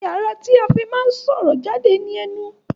Ẹyà ará tí a fí máa ń sọ̀rọ̀ jáde ní enu